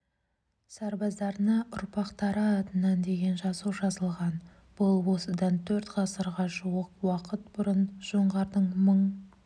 сарбаздарына ұрпақтары атынан деген жазу жазылған бұл осыдан төрт ғасырға жуық уақыт бұрын жоңғардың мың